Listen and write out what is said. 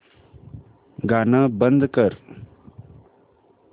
गाणं बंद कर